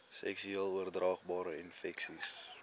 seksueel oordraagbare infeksies